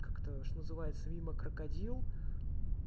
как это что называется мимо крокодил